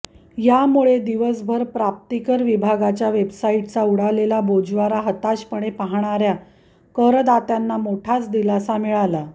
यामुळे दिवसभर प्राप्तिकर विभागाच्या वेबसाइटचा उडालेला बोजवारा हताशपणे पाहणाऱ्या करदात्यांना मोठाच दिलासा मिळाला